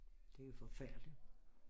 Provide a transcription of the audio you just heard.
Det jo forfærdeligt